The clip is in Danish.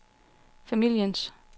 familiens